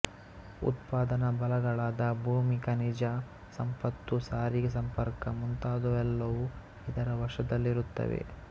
ಉತ್ಪಾದನಾ ಬಲಗಳಾದ ಭೂಮಿ ಖನಿಜ ಸಂಪತ್ತು ಸಾರಿಗೆ ಸಂಪರ್ಕ ಮುಂತಾದವೆಲ್ಲವೂ ಇದರ ವಶದಲ್ಲಿರುತ್ತವೆ